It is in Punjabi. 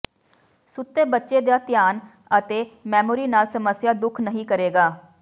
ਸੁੱਤੇ ਬੱਚੇ ਦਾ ਧਿਆਨ ਅਤੇ ਮੈਮੋਰੀ ਨਾਲ ਸਮੱਸਿਆ ਦੁੱਖ ਨਹੀ ਕਰੇਗਾ